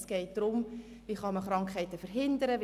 Es geht darum, wie man Krankheiten verhindern kann.